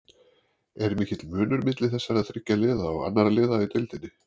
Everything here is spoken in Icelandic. Er mikill munur milli þessara þriggja liða og annarra liða í deildinni?